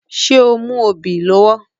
Ṣé o mú obì lọ́wọ́